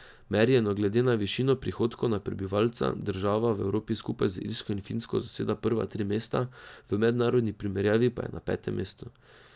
Merjeno glede na višino prihodkov na prebivalca država v Evropi skupaj z Irsko in Finsko zaseda prva tri mesta, v mednarodni primerjavi pa je na petem mestu.